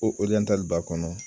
O Oriyantali b'a kɔnɔ.